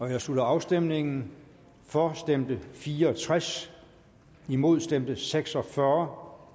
jeg slutter afstemningen for stemte fire og tres imod stemte seks og fyrre